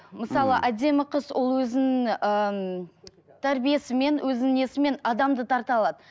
мысалы әдемі қыз ол өзін ыыы тәрбиесімен өзін несімен адамды тарта алады